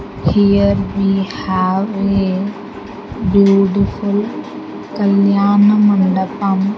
here we have a beautiful kalyana mandapam.